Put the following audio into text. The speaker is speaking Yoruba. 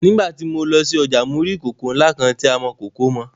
Nígbà tí mo lọ sí ọjà mo rí ìkòkò ńlá kan tí amọ̀kòkò mọ.